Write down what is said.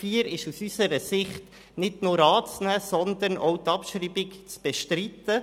Ziffer 4 ist aus unserer Sicht nicht nur anzunehmen, sondern auch die Abschreibung ist zu bestreiten.